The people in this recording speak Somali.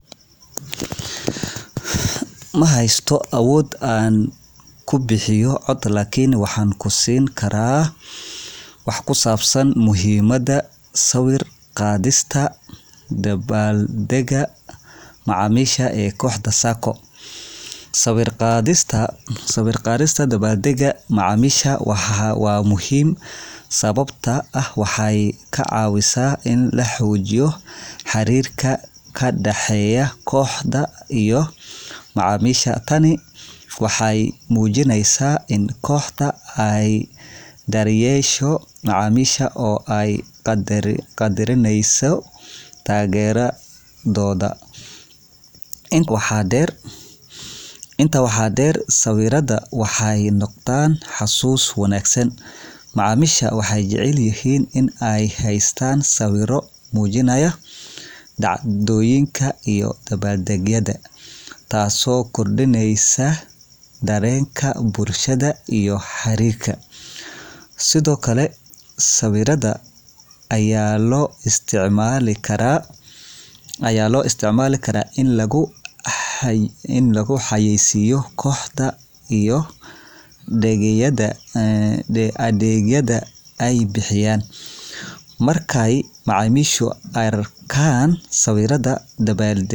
Mahaysto awood aan kubixiyo cod lakin waxaan kusiin karaa wax ku saabsan muhiimada sawir qadista dabaal daga macamisha ee kooxda saaco sawir qadista dabaal daga macamisha waa muhiim sababta oo ah waxeey ka cawisa in la xoojiyo xariirka kadaxeeyo kooxda iyo macamisha, tani waxeey mujineysa in kooxda aay dar yeesho nacamisha oo aay qadarineyso taageradooda, inta waxaa deer sawirada waxeey noqdaan xasuus wanagsan, macamisha waxeey jecel yihiin in aay haystaan sawiro mujinaaya dacdooyinka iyo dabaal degyada taas oo kordineysa dareenka bulshada iyo xariirka, sawiirada ayaa loo isticmaali karaa in lagu xayeeysiyo kooxda iyo adeegyada aay bixiyaan.